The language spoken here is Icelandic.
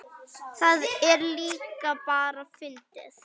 Það er líka bara fyndið.